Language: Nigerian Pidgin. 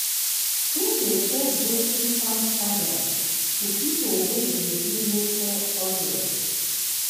e dey sell broken palm kernel to people wey dey do local oil.